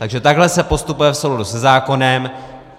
Takže takhle se postupuje v souladu se zákonem.